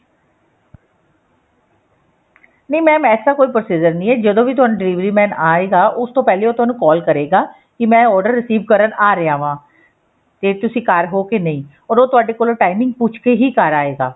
ਨਹੀ mam ਐਸਾ ਕੋਈ procedure ਨਹੀਂ ਹੈ ਜਦੋਂ ਵੀ ਤੁਹਾਨੂੰ delivery man ਆਏਗਾ ਉਸ ਤੋਂ ਪਹਿਲੇ ਉਹ ਤੁਹਾਨੂੰ call ਕਰੇਗਾ ਕੀ ਮੈਂ order receive ਕਰਨ ਆ ਰਿਹਾ ਵਾ ਤੇ ਤੁਸੀਂ ਘਰ ਹੋ ਕੇ ਨਹੀਂ or ਉਹ ਤੁਹਾਡੇ ਕੋਲੋਂ timing ਪੁੱਛ ਕੇ ਹੀ ਘਰ ਆਏਗਾ